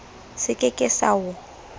se ke ke sa o